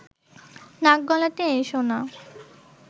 নাক গলাতে এসো না